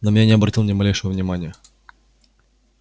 на меня не обратил ни малейшего внимания